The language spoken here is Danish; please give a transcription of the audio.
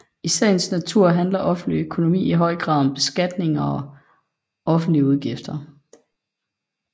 I sagens natur handler offentlig økonomi i høj grad om beskatning og offentlige udgifter